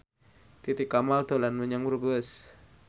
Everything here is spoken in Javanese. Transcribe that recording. Titi Kamal dolan menyang Brebes